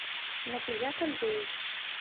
напият андреевич